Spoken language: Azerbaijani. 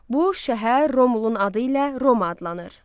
Bu şəhər Romulun adı ilə Roma adlanır.